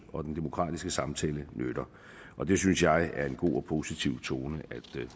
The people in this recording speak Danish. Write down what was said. og den demokratiske samtale nytter og det synes jeg er en god og positiv tone